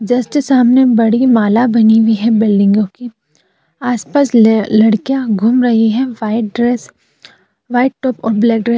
Just सामने बड़ी माला बनी हुई है बिल्डिंगो की। आसपास ल लड़किया घूम रही है व्हाइट ड्रेस । व्हाइट टॉप और ब्लैक ड्रेस --